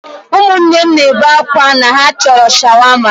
Ụmụnne m na-ebe akwa na ha chọrọ Shawama.